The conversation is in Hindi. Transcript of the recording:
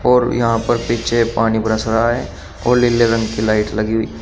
और यहां पर पीछे पानी बरस रहा है और लीले रंग की लाइट लगी हुई --